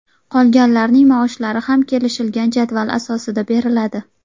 Qolganlarning maoshlari ham kelishilgan jadval asosida beriladi.